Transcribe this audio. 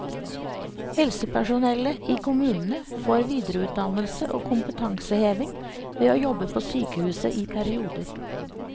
Helsepersonellet i kommunene får videreutdannelse og kompetanseheving ved å jobbe på sykehuset i perioder.